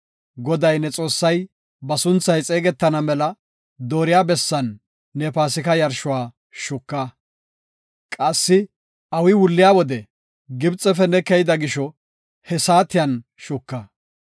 Goday ne Xoossay ba sunthay xeegetana mela dooriya bessan ne Paasika yarshuwa shuka. Qassi awi wulliya wode Gibxefe ne keyida gisho he saatiyan shuka.